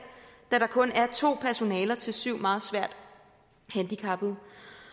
da der kun er to personaler til syv meget svært handicappede